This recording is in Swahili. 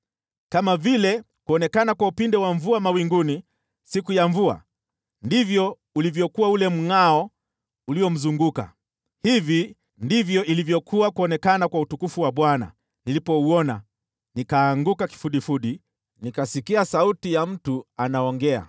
Kama vile kuonekana kwa upinde wa mvua mawinguni siku ya mvua, ndivyo ulivyokuwa ule mngʼao uliomzunguka. Hivi ndivyo ilivyokuwa kuonekana kwa utukufu wa Bwana . Nilipouona, nikaanguka kifudifudi, nikasikia sauti ya mtu anaongea.